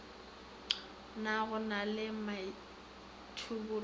na go na le maithobollo